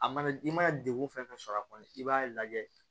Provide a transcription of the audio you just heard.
A mana i mana degun fɛn fɛn sɔrɔ a kɔnɔ i b'a lajɛ